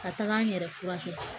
Ka taga n yɛrɛ furakɛ